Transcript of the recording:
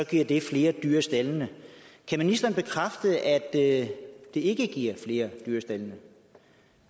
giver flere dyr i staldene kan ministeren bekræfte at det ikke giver flere dyr i staldene